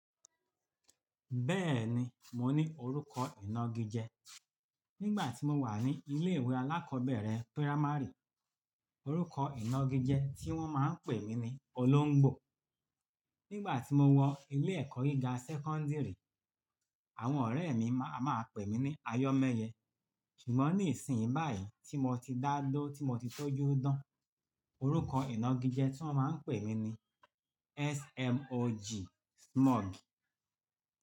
Bẹ́ẹ̀ni, mo ní orúkọ ìnagijẹ. Nígbà tí mo wà ní ilé ìwé alákọ̀ọ́bẹ̀rẹ̀ pírámárì, orúkọ ìnagijẹ tí wọ́n máa ń pè mí ni olóńgbò. Nígbà tí mo wọ ilé ẹ̀kọ́ gíga sẹ́kọ́ńdírì, àwọn ọ̀rẹ́ mi máa ń pè mí ní ayọ́mẹ́yẹ. Ṣùgbọ́n nísìnyí báyìí tí mo ti dá ló, tí mo ti tọ́jú dán, orúkọ ìnagijẹ tí wọ́n máa ń pè mí ní SMOG.